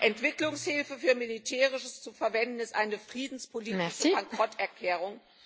Entwicklungshilfe für Militärisches zu verwenden ist eine friedenspolitische Bankrotterklärung.